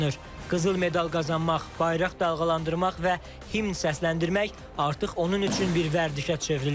Qızıl medal qazanmaq, bayraq dalğalandırmaq və himn səsləndirmək artıq onun üçün bir vərdişə çevrilib.